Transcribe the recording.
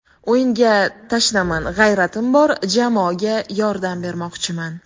O‘yinga tashnaman, g‘ayratim bor, jamoaga yordam bermoqchiman.